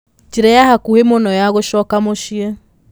njĩra ya hakũhĩ mũno ya gũcoka mũciĩ